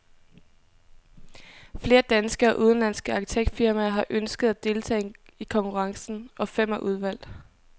Flere danske og udenlandske arkitektfirmaer har ønsket at deltage i konkurrencen, og fem er udvalgt.